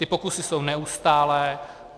Ty pokusy jsou neustálé.